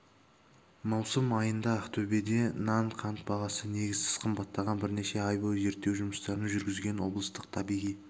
маусым айында ақтөбеде нан қант бағасы негізсіз қымбаттаған бірнеше ай бойы зерттеу жұмыстарын жүргізген облыстық табиғи